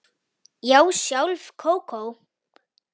Já, sjálf Kókó